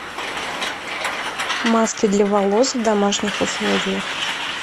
маски для волос в домашних условиях